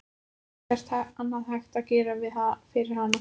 Það er ekkert annað hægt að gera fyrir hana.